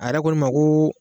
A yɛrɛ ko ne ma ko